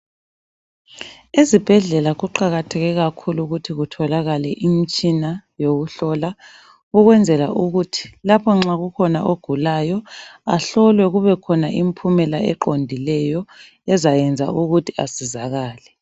Ezibhedlela kuqakatheke kakhulu ukuthi kutholakale imitshina yokuhlola, ukwenzela ukuthi lapho nxa kukhona ogulayo, ahlolwe kubekhona impumela eqondileyo, ezayenza ukuthi asizakale.